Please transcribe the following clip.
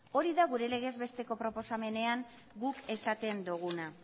hori da gure legez besteko proposamenean guk esaten duguna